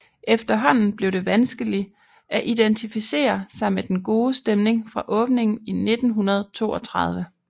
Efterhånden blev det vanskelig at identificere sig med den gode stemning fra åbningen i 1932